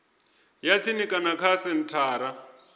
ya tsini kana kha senthara